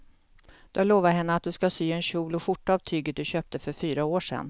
Du har lovat henne att du ska sy en kjol och skjorta av tyget du köpte för fyra år sedan.